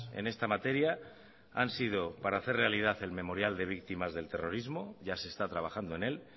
en esta materia han sido para hacer realidad el memorial de víctimas del terrorismo ya se está trabajando en él